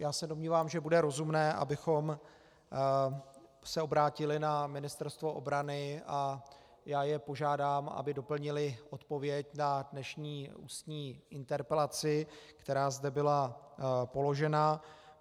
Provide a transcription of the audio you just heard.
Já se domnívám, že bude rozumné, abychom se obrátili na Ministerstvo obrany, a já je požádám, aby doplnili odpověď na dnešní ústní interpelaci, která zde byla položena.